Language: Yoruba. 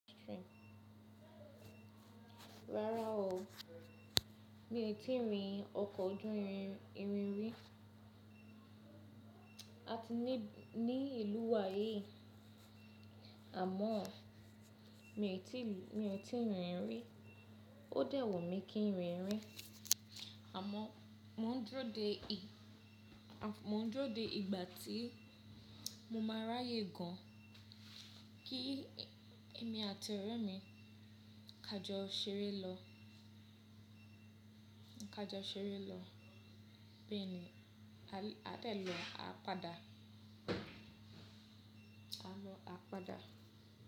Rárá o, mi n tí ì rí ọkọ̀ ojú irin rí à ti ní ìlú wa yìí, àmọ́ mi n mi ò ti rí rí, ó dẹ̀ wunmi kí n rí rí, àmọ́ mo n dúró de mo ń dúró de ìgbà tí mo máa ráyè gan kí èmi àti ọ̀rẹ́ mi ká jọ ṣeré lọ, bẹ́ẹ̀ ni a lè--a de lọ à páda. A lọ à páda.